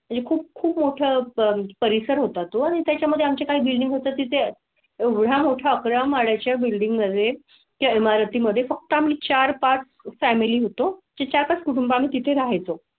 ही खूप मोठा परिसर होता तो आणि त्याच्या मध्ये आमचे काही बिल्डिंग होता तिथे. एवढा मोठा अकरा माळ्याचा बिल्डिंग मध्ये त्या इमारती मध्ये फक्त आम्ही चार पांच फॅमिली होतो चार पांच कुटुंबां तिथे राहायचो